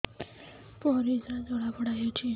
ପରିସ୍ରା ଜଳାପୋଡା ହଉଛି